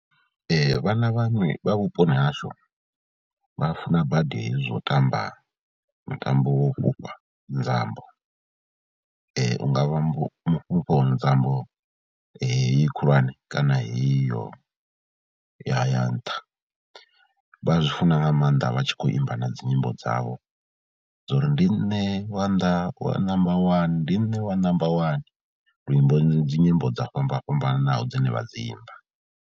Vhana vhaṅwe vha vhuponi hashu vha funa badi hezwo u tamba mutambo wo fhufha, nzambo u nga vha mufhuvho nzambo heyi khulwane kana iyo ya ya nṱha, vha zwi funa nga maanḓa vha tshi khou imba na dzi nyimbo dzavho dzo uri ndi nṋe wa nnḓa wa namba wani, ndi nṋe wa number wani, luimbo dzi nyimbo dzo fhambana fhambananaho dzine vha dzi imba.